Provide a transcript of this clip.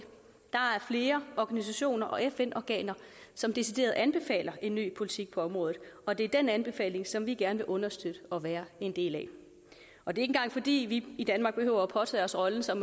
flere organisationer og fn organer som decideret anbefaler en ny politik på området og det er den anbefaling som vi gerne vil understøtte og være en del af og det er fordi vi i danmark behøver at påtage os rollen som